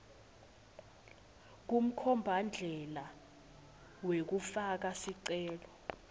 kumkhombandlela wekufaka sicelo